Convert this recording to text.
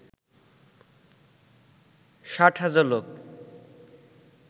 ৬০ হাজার লোক